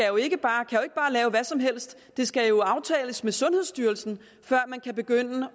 jo ikke bare lave hvad som helst det skal jo aftales med sundhedsstyrelsen før man kan begynde